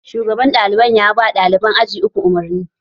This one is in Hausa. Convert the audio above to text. Shugaban ɗalibai yaba ɗaliban aji uku umarni